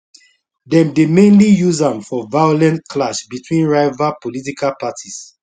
dem dey mainly use am for violent clash between rival political parties